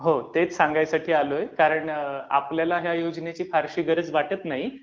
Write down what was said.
हो. तेच सांगण्यासाठी आलोय. कारण आपल्याला या योजनेची फारशी गरज वाटत नाही.